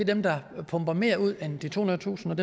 dem der pumper mere ud end de tohundredetusind